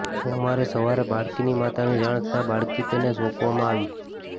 સોમવારે સવારે બાળકીની માતાની જાણ થતા બાળકી તેને સોંપવામાં આવી